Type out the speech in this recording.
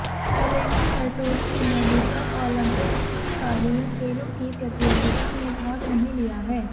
Elena Curtoni ने अभी तक ओलंपिक शीतकालीन खेलों की प्रतियोगिता में भाग नहीं लिया है